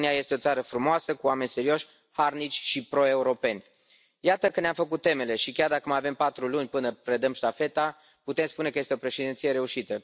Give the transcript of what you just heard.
România este o țară frumoasă, cu oameni serioși, harnici și proeuropeni. Iată că ne am făcut temele și, chiar dacă mai avem patru luni până predăm ștafeta, putem spune că este o președinție reușită.